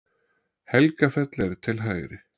Helgafell er til hægri.